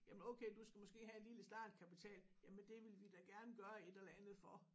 Jamen okay du skal måske have en lille startkapital jamen det vil vi da gerne gøre et eller andet for